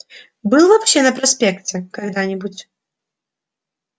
был вообще на проспекте когда-нибудь